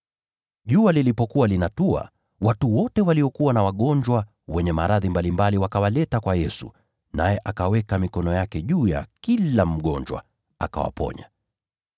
Jua lilipokuwa linatua, watu wakamletea Yesu watu wote waliokuwa na maradhi mbalimbali, naye akaweka mikono yake juu ya kila mgonjwa, naye akawaponya.